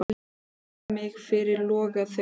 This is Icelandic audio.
Og ég beygi mig fyrir loga þeirra.